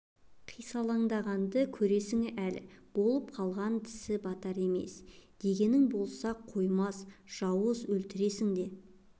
қисалаңдағанды көресіңі әлі болып қалған тісі батар емес дегенің бола қоймас жауыз өлтірсең де